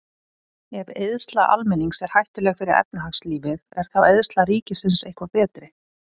Ef eyðsla almennings er hættuleg fyrir efnahagslífið, er þá eyðsla ríkisins eitthvað betri?